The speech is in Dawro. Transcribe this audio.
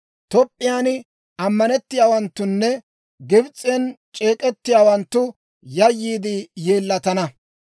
Toop'p'iyaan ammanettiyaawanttunne Gibs'en c'eek'ettiyaawanttu yayyiide yeellatana.